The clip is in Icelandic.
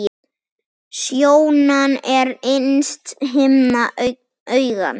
Sjónan er innsta himna augans.